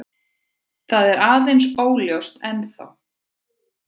Þetta er aðeins óljóst ennþá.